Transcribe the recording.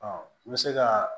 Ɔ n bɛ se ka